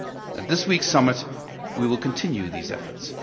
At this week's summit, we will continue these efforts.